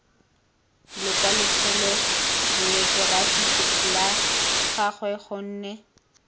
lokwalotshelo bayokerafi lwa gagwe gonne